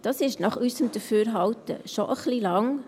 Das ist nach unserem Dafürhalten schon ein wenig lang.